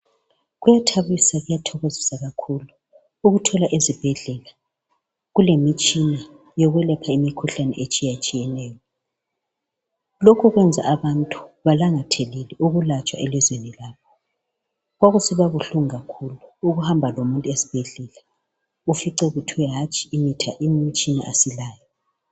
Kuyathabisa kuyathokozisa kakhulu ukuthola ezibhedlela kulemitshina yokwelapha imkhuhlane itshiyatshiyeneyo. Lokhu kwenza abantu balangathelele ukulatshwa elizweni labo. Kwakusiba buhlungu kakhulu ukuhamba lomuntu esibhedlela ufice kuthiwa hanthi imithi, imitshina asilayo.